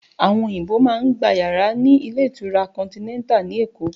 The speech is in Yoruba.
Àwọn òyìnbó má ń gba yàrá ní ilé ìtura Continental ní Èkó